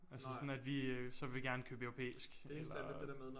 Altså sådan at vi øh så vil gerne købe europæisk eller